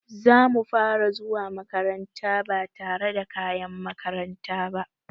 Zamu fara zuwa makaranta ba tare da kayan makaranta ba.